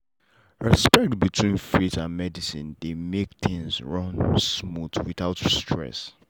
respect between faith and medicine dey make things run smooth without stress.